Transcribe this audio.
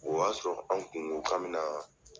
O y'a sɔrɔ an kun ko k'an mina .